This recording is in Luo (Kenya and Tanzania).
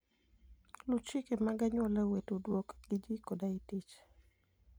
Luw chike mag anyuolau e tudruok gi ji koda e tich.